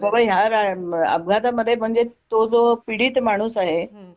की बाबा ह्या अपघातामध्ये म्हणजे तो जो पीडित माणूस आहे